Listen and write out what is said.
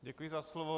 Děkuji za slovo.